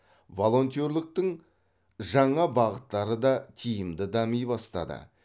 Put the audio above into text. волонтерліктің жаңа бағыттары да тиімді дами бастады